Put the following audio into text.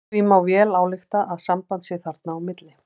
Því má vel álykta að samband sé þarna á milli.